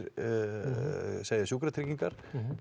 segja Sjúkratryggingar